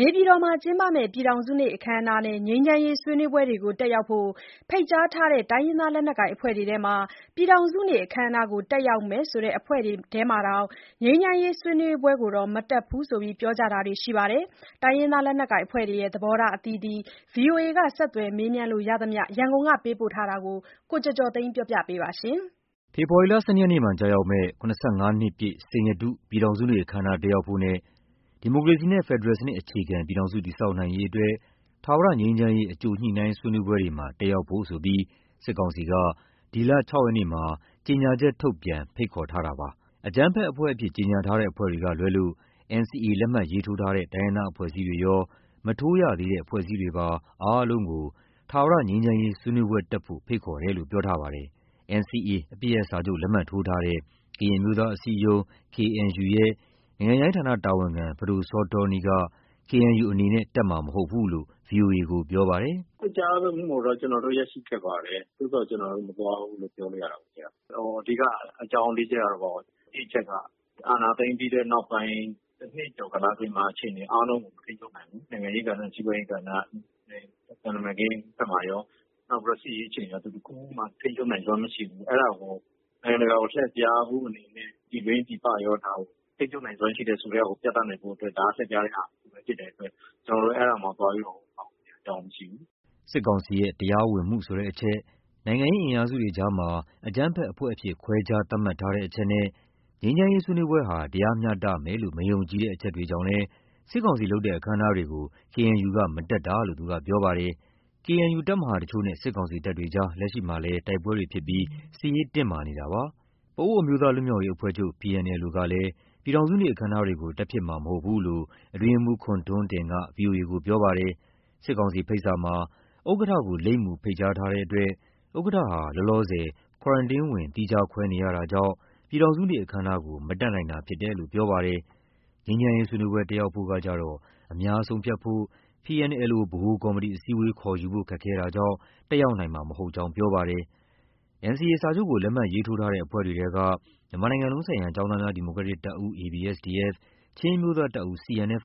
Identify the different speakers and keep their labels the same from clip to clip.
Speaker 1: နေပြည်တော်မှာကျင်းပမယ့် ပြည်ထောင်စုနေ့အခမ်းအနားနဲ့ ငြိမ်းချမ်းရေးဆွေးနွေးပွဲတွေကို တက်ရောက်ဖို့ ဖိတ်ကြားထားတဲ့ တိုင်းရင်းသားလက်နက်ကိုင်အဖွဲ့တွေထဲမှာ ပြည်ထောင်စုနေ့ အခမ်းအနားကို တက်ရောက်မယ်ဆိုတဲ့ အဖွဲ့တွေထဲမှာတောင် ငြိမ်းချမ်းရေးဆွေးနွေးပွဲကိုတော့ မတက်ဘူးလို့ ပြောကြတာတွေရှိပါတယ်။ တိုင်းရင်းသားလက်နက်ကိုင်အဖွဲ့တွေရဲ့ သဘောထား အသီးသီး ဗွီအိုအေက ဆက်သွယ်မေးမြန်းလို့ရသမျှ ရန်ကုန်ကပေးပို့ထားတာကို ကိုကျော်ကျော်သိန်းက တင်ပြပေးထားပါတယ်။ ဖေဖော်ဝါရီလ ၁၂ ရက်နေ့မှာကျရောက်မယ့် ၇၅ နှစ်ပြည့် စိန်ရတု ပြည်ထောင်စုနေ့အခမ်းအနား တက်ရောက်ဖို့နဲ့ ဒီမိုကရေစီနဲ့ ဖက်ဒရယ်စနစ်အခြေခံ ပြည်ထောင်စုတည်ဆောက်နိုင်ရေးအတွက် ထာဝရငြိမ်းချမ်းရေး အကြိုညှိနှိုင်းဆွေးနွေးပွဲတွေမှာ တက်ရောက်ဖို့ဆိုပြီး စစ်ကောင်စီက ဒီလ ၆ ရက်နေ့မှာ ကြေညာချက်ထုတ်ပြန် ဖိတ်ခေါ်ခဲ့ပါတယ်။ အကြမ်းဖက်အဖွဲ့အဖြစ် ကြေညာထားတဲ့အဖွဲ့တွေကလွဲလို့ NCA လက်မှတ်ရေးထိုးထားတဲ့ တိုင်းရင်းသားအဖွဲ့အစည်းတွေရော၊ မထိုးရသေးတဲ့အဖွဲ့အစည်းတွေပါ အားလုံးကို ထာဝရငြိမ်းချမ်းရေးဆွေးနွေးပွဲတက်ဖို့ ဖိတ်ခေါ်တယ်လို့ ပြောကြားထားပါတယ်။ NCA အပစ်ရပ်စာချုပ် လက်မှတ်ထိုးထားတဲ့ ကရင်အမျိုးသားအစည်းအရုံး KNU ရဲ့ နိုင်ငံခြားရေးဌာနတာဝန်ခံ ပဒိုစောတောနီး က KNU အနေနဲ့ တက်မှာမဟုတ်ဘူးလို့ ဗွီအိုအေကိုပြောပါတယ်။ “ဖိတ်ကြားမှုကိုတော့ ကျနော်တို့ ရရှိခဲ့ပါတယ်။ သို့သော် ကျနော်တို့ မသွားဘူးလို့ ပြောလို့ ရတာပေ့ါဗျာ။ အဓိက အကြောင်း ၄ ချက်ကတော့- တစ် အချက်က အာဏာသိမ်းပြီးတဲ့နောက်ပိုင်း တနှစ်ကျော်ကာလအတွင်းမှာ အခြေအနေအားလုံးကို မထိန်းချုပ်နိုင်ဘူး။ နိုင်ငံရေးကဏ္ဍ၊ စီးပွားရေးကဏ္ဍနဲ့ သံတမန်ရေးဘက်မှာရော၊ နောက်ပြီး စစ်ရေးအခြေအနေမှာရော သူတခုမှ ထိန်းချုပ်နိုင်စွမ်းမရှိဘူး။ အဲဒါကို နိုင်ငံတကာကို လှည့်ဖြားနိုင်ဖို့အနေနဲ့ ပြည်တွင်းပြည်ပရော ဒါကို ထိန်းချုပ်နိုင်စွမ်းရှိတယ်ဆိုတာကို ပြသနိုင်ဖို့အတွက် ဒါက လှည့်ဖြားတဲ့ဟာတခုပဲ ဖြစ်တဲ့အတွက် ကျနော်တို့ အဲဒါမှာ သွားပြီးတော့ ပါဝင်စရာ အကြောင်းမရှိဘူး။” စစ်ကောင်စီရဲ့ တရားဝင်မှုဆိုတဲ့အချက်၊ နိုင်ငံရေးအင်အားစုတွေအကြားမှာ အကြမ်းဖက်အဖွဲ့အဖြစ် ခွဲခြား သတ်မှတ်ထားတဲ့အချက်နဲ့ ငြိမ်းချမ်းရေးဆွေးနွေးပွဲဟာ တရားမျှတမယ်လို့ မယုံကြည်တဲ့အချက်တွေကြောင့်လည်း စစ်ကောင်စီလုပ်တဲ့ အခမ်းအနားတွေကို KNU မတက်တာလို့ သူကပြောပါတယ်။ KNU ရဲ့ တပ်မဟာတချို့နဲ့ စစ်ကောင်စီတပ်တွေ လက်ရှိမှာလည်း တိုက်ပွဲတွေဖြစ်ပြီး စစ်ရေးတင်းမာနေပါတယ်။ ပအိုးဝ်အမျိုးသားလွတ်မြောက်ရေးအဖွဲ့ချုပ် ကလည်း ပြည်ထောင်စုနေ့ အခမ်းအနားတွေကို တက်ဖြစ်မှာမဟုတ်ဘူးလို့ အတွင်းရေးမှူး ခွန်ထွန်းတင်က ဗွီအိုအေကို ပြောပါတယ်။ စစ်ကောင်စီရဲ့ဖိတ်စာမှာ ဥက္ကဋ္ဌကို လိပ်မူတပ်ဖိတ်ကြားထားတဲ့အတွက် ဥက္ကဋ္ဌဟာ လောလောဆယ် Quarantine ဝင် သီးခြားခွဲနေရတာကြောင့် ပြည်ထောင်စုနေ့အခမ်းအနားကို မတက်နိုင်တာဖြစ်တယ်လို့ ပြောပါတယ်။ ငြိမ်းချမ်းရေးဆွေးနွေးပွဲ တက်ရောက်ဖို့ကကျတော့ အများဆုံးဖြတ်ဖို့ PNLO ဗဟိုကော်မတီ အစည်းအဝေး ခေါ်ယူဖို့ခက်ခဲတာကြောင့် တက်ရောက်နိုင်မှာမဟုတ်ကြောင်း ပြောပါတယ်။ NCA စာချုပ်ကို လက်မှတ်ရေးထိုးထားတဲ့ အဖွဲ့တွေထဲက မြန်မာနိုင်ငံလုံးဆိုင်ရာ ကျောင်းသားများ ဒီမိုကရက်တစ် တပ်ဦး ၊ ချင်းအမျိုးသားတပ်ဦး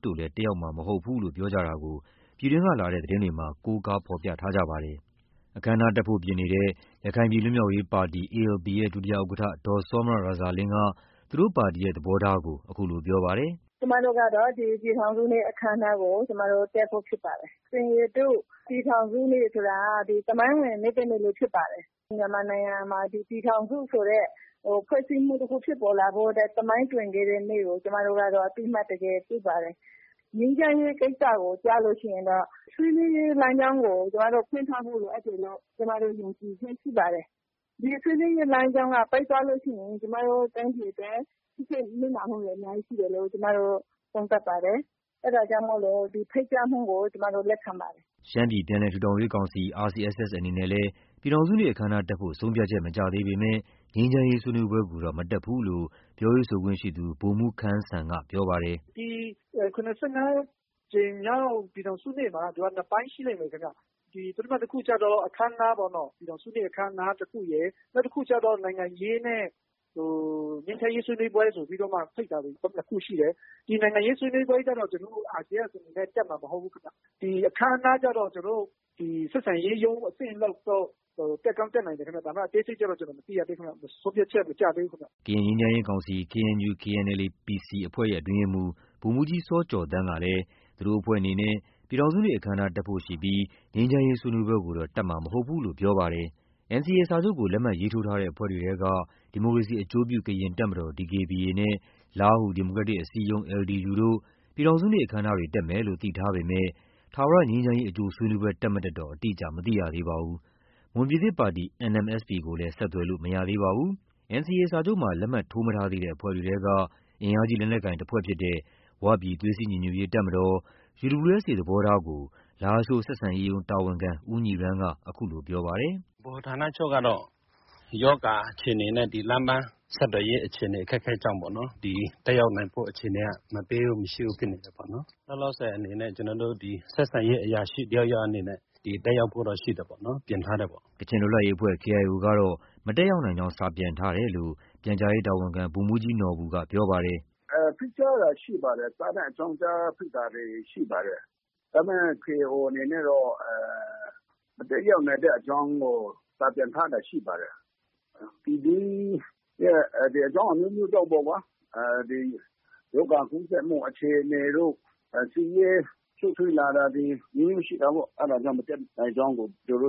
Speaker 1: တို့လည်း တက်ရောက်မှာမဟုတ် ဘူးလို့ ပြောကြတာကို ပြည်တွင်းကလာတဲ့ သတင်းတွေမှာ ကိုးကားဖော်ပြထားကြပါတယ်။ တက်ဖို့ပြင်နေတဲ့ ရခိုင်ပြည် လွတ်မြောက်ရေးပါတီ ရဲ့ ဒုဥက္ကဋ္ဌ ဒေါ်စောမြရာဇာလင်းက သူတို့ပါတီရဲ့ သဘောထားကို အခုလိုပြောပါတယ်။ “ကျမတို့ကတော့ ဒီပြည်ထောင်စုနေ့ အခမ်းအနားကို တက်ဖို့ ဖြစ်ပါတယ်။ စိန်ရတု ပြည်ထောင်စုနေ့ဆိုတာ သမိုင်းဝင် နေ့တနေ့လည်းဖြစ်ပါတယ်။ မြန်မာနိုင်ငံမှာ ဒီပြည်ထောင်စုဆိုတဲ့ ဖွဲ့စည်းမှုတခု ဖြစ်ပေါ်လာဖို့အတွက် သမိုင်းတွင်ခဲ့တဲ့နေ့ကို ကျမတို့က အသိအမှတ် တကယ်ပြုပါတယ်။ ငြိမ်းချမ်းရေးကိစ္စကျရင်တော့ ဆွေးနွေးရေးလမ်းကြောင်းကို ကျမတို့ ဖွင့်ထားဖို့ လိုအပ်တယ်လို့ ယုံကြည်ချက်ရှိပါတယ်။ ဒီဆွေးနွေးရေးလမ်းကြောင်းက ပိတ်သွားလို့ရှိရင် ကျမတို့ တိုင်းပြည်အတွက် ထိခိုက်နစ်နာမှုတွေ အများကြီးရှိတယ်လို့ ကျမတို့ သုံးသပ်ပါတယ်။ အဲဒါကြောင့်မို့ ဒီဖိတ်ကြားမှုကို လက်ခံပါတယ်။” ရှမ်းပြည်ပြန်လည်ထူထောင်ရေးကောင်စီ အနေနဲ့လည်း ပြည်ထောင်စုနေ့အခမ်းအနားတက်ဖို့ ဆုံးဖြတ်ချက် မကျသေးပေမယ့် ငြိမ်းချမ်းရေးဆွေးနွေးပွဲကိုတော့ မတက်ဘူးလို့ ပြောရေးဆိုခွင့်ရှိသူ ဗိုလ်မှူးခမ်းစံကပြောပါတယ်။ “ဒီ ၇၅ ကြိမ်မြောက် ပြည်ထောင်စုနေ့မှာ သူက နှစ်ပိုင်းရှိလိမ့်မယ်ဗျ။ ပထမတခုကျတော့ ပြည်ထောင်စုနေ့အခမ်းအနားတခုရယ်။ နောက်တခုကျတော့ နိုင်ငံရေးနဲ့ ငြိမ်းချမ်းရေးဆွေးနွေးပွဲဆိုပြီးမှ ဖိတ်တာတွေ ၂ ခုရှိတယ်။ ဒီနိုင်ငံရေးဆွေးနွေးပွဲကျတော့ ကျနော်တို့ RCSS အနေနဲ့ တက်မှာမဟုတ်ဘူးခင်ဗျ။ အခမ်းအနားကျတော့ ကျနော်တို့ ဆက်ဆံရေးရုံးအဆင့်လောက်တော့ တက်ကောင်းတက်နိုင်တယ်ခင်ဗျ။ ဒါပေမဲ့ အသေးစိတ်တော့ ကျနော် မသိရသေးဘူး။ ဆုံးဖြတ်ချက် မကျသေးဘူးခင်ဗျ။” ကရင်ငြိမ်းချမ်းရေးကောင်စီ အဖွဲ့ရဲ့အတွင်းရေးမှူး ဗိုလ်မှူးကြီးစောကျော်သန်းကလည်း သူတို့အဖွဲ့အနေနဲ့ ပြည်ထောင်စုနေ့အခမ်းအနား တက်ဖို့ရှိပြီး ငြိမ်းချမ်းရေးဆွေးနွေးပွဲကိုတော့ တက်မှာမဟုတ်ဘူးလို့ ပြောပါတယ်။ NCA စာချုပ်ကို လက်မှတ်ရေးထိုးထားတဲ့အဖွဲ့တွေထဲက ဒီမိုကရေစီအကျိုးပြု ကရင်တပ်မတော် နဲ့ လားဟူ ဒီမိုကရက်တစ် အစည်းအရုံး တို့ ပြည်ထောင်စုနေ့အခမ်းအနားတွေ တက်မယ်လို့ သိထားပေမဲ့ ထာဝရငြိမ်းချမ်းရေး အကြိုဆွေးနွေးပွဲ တက်မတက်တော့ အတိအကျ မသိရသေးပါဘူး။ မွန်ပြည်သစ်ပါတီ ကိုလည်း ဆက်သွယ်လို့ မရသေးပါဘူး။ NCA စာချုပ်မှာ လက်မှတ် ထိုးမထားသေးတဲ့အဖွဲ့တွေထဲက အင်အားကြီးလက်နက်ကိုင်တဖွဲ့ဖြစ်တဲ့ ဝပြည် သွေးစည်းညီညွတ်ရေး တပ်မတော် သဘောထားကို လားရှိုး ဆက်ဆံရေးရုံးတာဝန်ခံ ဦးညီရန်းက အခုလိုပြောပါတယ်။ “ဗဟိုဌာနချုပ်ကတော့ ရောဂါအခြေအနေနဲ့ လမ်းပန်းဆက်သွယ်ရေးအခြေအနေ အခက်အခဲကြောင့်ပေ့ါနော် တက်ရောက်နိုင်ဖို့ အခြေအနေ မပေးဘူး၊ မရှိဘူးဖြစ်နေတယ်ပေါ့နော်။ လောလောဆယ် အနေနဲ့ ကျနော်တို့ ဒီ ဆက်ဆံရေးအရာရှိတယောက် ယောက်အနေနဲ့ တက်ရောက်ဖို့တော့ ရှိတယ်ပေါ့နော်။” ကချင်လွတ်လပ်ရေးအဖွဲ့ ကတော့ မတက်ရောက်နိုင်ကြောင်း စာပြန်ထားတယ်လို့ ပြန်ကြားရေးတာဝန်ခံ ဗိုလ်မှူးကြီး နော်ဘူက ပြောပါတယ်။ “ဖိတ်ကြားတာရှိပါတယ်။ စာနဲ့ အကြောင်းကြား ဖိတ်တာတွေရှိပါတယ်။ ဒါပေမဲ့ KIO အနေနဲ့တော့ မတက်ရောက်နိုင်တဲ့အကြောင်းကို စာပြန်ထားတာရှိပါတယ်။ ပြည်တွင်းရဲ့အကြောင်းအမျိုးမျိုးကြောင့်ပေ့ါကွာ။ ဒီ ရောဂါကူးစက်မှုအခြေအနေတို့၊ စစ်ရေးရှုပ်ထွေးလာတာတွေ အမျိုးမျိုးရှိတာပေ့ါ။ အဲဒါကြောင့် မတက်နိုင်ကြောင်းကို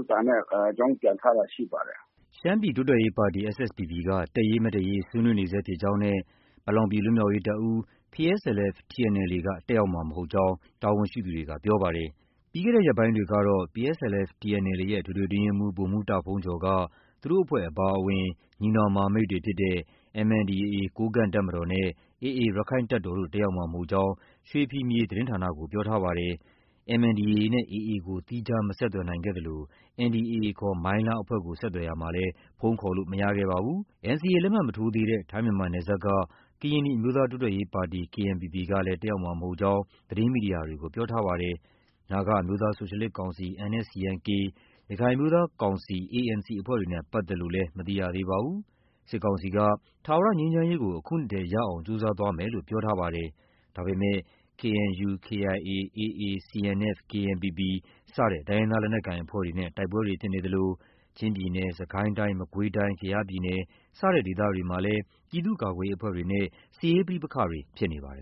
Speaker 1: စာနဲ့ အကြောင်းပြန်ထားတာရှိပါတယ်။” ရှမ်းပြည်တိုးတက်ရေးပါတီ က တက်ရေး၊ မတက်ရေး ဆွေးနွေးနေဆဲဖြစ်ကြောင်းနဲ့ ပလောင်ပြည် လွတ်မြောက်ရေးတပ်ဦး က တက်ရောက်မှာမဟုတ်ကြောင်း တာဝန် ရှိသူတွေက ပြောပါတယ်။ ပြီးခဲ့တဲ့ရက်ပိုင်းတွေကတော့ PSLF/TNLA ရဲ့ အထွေထွေအတွင်းရေးမှူး ဗိုလ်မှူးတာ့ဘုန်းကျော်က သူတို့အဖွဲ့အပါအဝင် ညီနောင် မဟာမိတ်တွေဖြစ်တဲ့ MNDAA ကိုးကန့်တပ်မတော်နဲ့ AA ရက္ခိုင့်တပ်တော်တို့ တက်ရောက်မှာမဟုတ်ကြောင်း ရွှေဖီမြေသတင်းဌာနကို ပြောထားပါတယ်။ MNDAA နဲ့ AA ကို သီခြား မဆက်သွယ်နိုင်ခဲ့သလို NDAA ခေါ် မိုင်းလားအဖွဲ့ကို ဆက်သွယ်ရာမှာ လည်း ဖုန်းခေါ်ဆိုလို့မရခဲ့ပါဘူး။ NCA လက်မှတ်မထိုးသေးတဲ့ ထိုင်း-မြန်မာနယ်စပ်က ကရင်နီအမျိုးသားတိုးတက်ရေးပါတီ ကလည်း တက်ရောက်မှာ မဟုတ်ကြောင်း သတင်းမီဒီယာတွေကို ပြောထားပါတယ်။ နာဂအမျိုးသားဆိုရှယ်လစ်ကောင်စီ ၊ ရခိုင်အမျိုးသား ကောင်စီ အဖွဲ့တွေနဲ့ပတ်သက်လို့လည်း မသိရသေးပါဘူး။ စစ်ကောင်စီက ထာဝရငြိမ်းချမ်းရေးကို အခုနှစ်ထဲ ရအောင်ကြိုးစားသွားမယ်လို့ ပြောကြားထားပါတယ်။ ဒါပေမယ့် KNU၊ KIA၊ AA CNF၊ KNPP စတဲ့ တိုင်းရင်းသားလက်နက်ကိုင်အဖွဲ့တွေနဲ့ တိုက်ပွဲတွေဖြစ်နေသလို ချင်းပြည်နယ်၊ စစ်ကိုင်းတိုင်း၊ မကွေးတိုင်း၊ ကယားပြည်နယ် စတဲ့ဒေသတွေမှာလည်း ပြည်သူ့ကာကွယ်ရေးအဖွဲ့တွေနဲ့ စစ်ရေးပဋိပက္ခတွေ ဖြစ်နေပါတယ်